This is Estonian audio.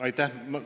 Aitäh!